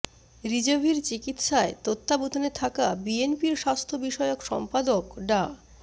রিজভীর চিকিৎসার তত্ত্বাবধানে থাকা বিএনপির স্বাস্থ্য বিষয়ক সম্পাদক ডা